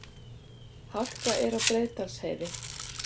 Hálka er á Breiðdalsheiði